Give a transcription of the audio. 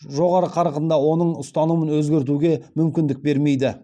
жоғары қарқында оның ұстанымын өзгертуге мүмкіндік бермейді